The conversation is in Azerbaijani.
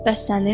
Bəs sənin?